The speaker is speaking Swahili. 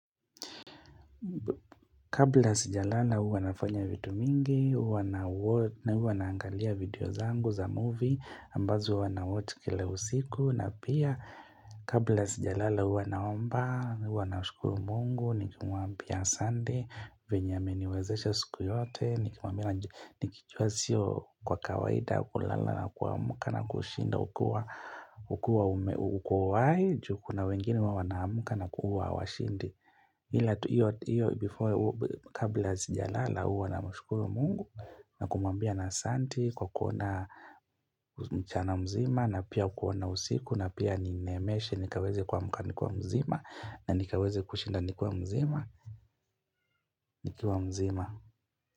Kabla sijalala huwa nafanya vitu mingi, huwa naangalia video zangu za movie ambazo huwa nawatch kile usiku na pia kabla sijalala huwa naomba, huwa nashkuru mungu, nikimwambia asante, venye ameniwezesha siku yote Nikijua sio kwa kawaida, kulala na kuamuka na kushinda, ukua ukua uko uhai ju kuna wengine huwa wanaamka na kuwa hawashindi Iyo kabla sijalala huwa na mashukuru mungu na kumambia asanti kuona mchana mzima na pia kuona usiku na pia ninemeeshe nikaweze kumka nikiwa mzima na nikaweze kushinda nikiwa mzima.